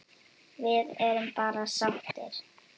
Við erum bara sáttir.